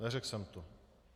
Neřekl jsem to.